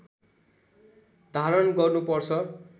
धारण गर्नुपर्छ